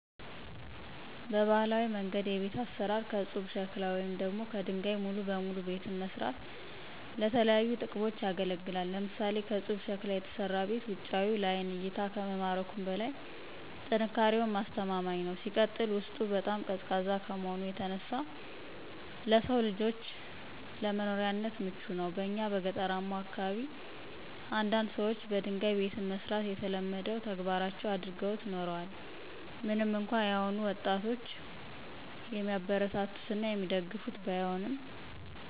በባህላዊ መንገድ የቤት አሰራር ከፁብ ሸክላ ወይም ደግሞ ከደንጋይ ሙሉ በሙሉ ቤትን መስራት ለተለያዩ ጥቅሞች ያገለግላል። ለምሳሌ፦ ከፁብ ሸክላ የተሰራ ቤት ውጫዊው ለአይን እይታ ከመማረኩም በላይ ጥንካሬውም አስተማማኝ ነው። ሲቀጥል ውስጡ በጣም ቀዝቃዛ ከመሆኑ የተነሳ ለሰው ልጆች ለመኖሪያነት ምቹ ነው። በእኛ በገጠራማው አካባቢ አንዳንድ ሰዎች በደንጋይ ቤትን መስራት የተለመደው ተግባራቸው አድርገውት ኑረዋል ምንም እንኳን የአሁኑ ወጣጦች የሚያበረታቱት እና የሚደግፉት ባይሆንም።